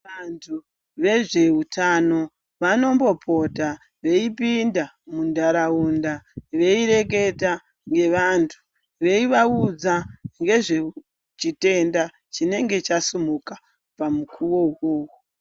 Vantu vezveutano vanombopota veipinda muntaraunda veireketa nevantu veivaudza ngezvechitenda chinenge chasimuka pamukuwo uwowo.